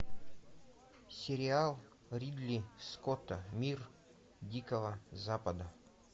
сериал ридли скотта мир дикого запада